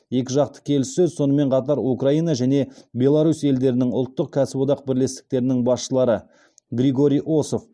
екіжақты келіссөз сонымен қатар украина және беларусь елдерінің ұлттық кәсіподақ бірлестіктерінің басшылары григорий осов